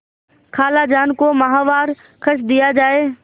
खालाजान को माहवार खर्च दिया जाय